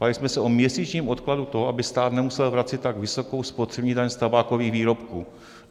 Bavili jsme se o měsíčním odkladu toho, aby stát nemusel vracet tak vysokou spotřební daň z tabákových výrobků.